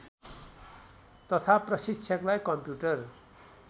तथा प्रशिक्षकलाई कम्प्युटर